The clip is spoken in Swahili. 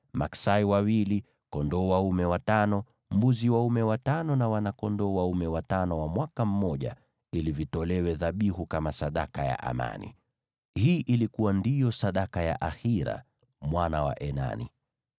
maksai wawili, kondoo dume watano, mbuzi dume watano na wana-kondoo dume watano wa mwaka mmoja, ili vitolewe dhabihu kama sadaka ya amani. Hii ndiyo ilikuwa sadaka ya Ahira mwana wa Enani.